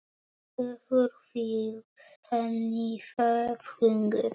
Hefur fylgt henni það hungur.